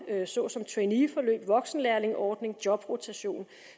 såsom traineeforløb voksenlærlingeordning jobrotation